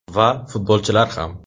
Va, futbolchilar ham.